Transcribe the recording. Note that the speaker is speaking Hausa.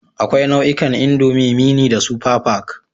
Akwai nau'ikan indomie, mini da super pack